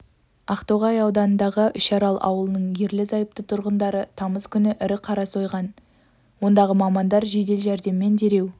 ақтоғай ауданындағы үшарал ауылының ерлі-зайыпты тұрғындары тамыз күні ірі қара сойған екен ондағы мамандар жедел-жәрдеммен дереу